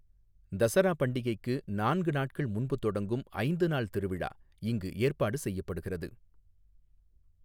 தசரா பண்டிகைக்கு நான்கு நாட்கள் முன்பு தொடங்கும் ஐந்து நாள் திருவிழா இங்கு ஏற்பாடு செய்யப்படுகிறது.